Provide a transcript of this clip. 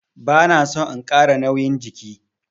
Bana son in Kara nauyin jiki.